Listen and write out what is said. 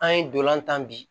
An ye dolan tan bi